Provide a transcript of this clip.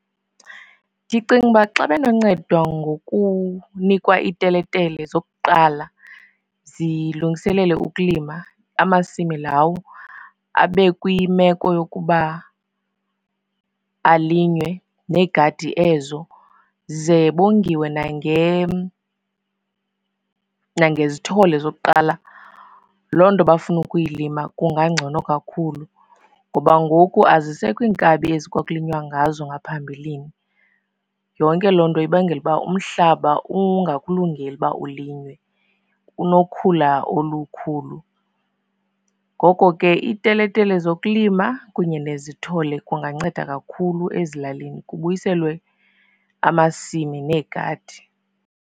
Ndicinga uba xa benocedwa ngokunikwa iiteletele zokuqala, zilungiselele ukulima amasimi lawo, abe kwimeko yokuba alinywe neegadi ezo. Ze bongiwe nangezithole zokuqala loo nto bafuna ukuyilima, kungangcono kakhulu. Ngoba ngoku azisekho iinkabi ezi kwakulinywa ngazo ngaphambilini. Yonke loo nto ibangela uba umhlaba ungakulungeli uba ulinywe, unokhula olukhulu. Ngoko ke iiteletele zokulima kunye nezithole kunganceda kakhulu ezilalini kubuyiselwe amasimi neegadi.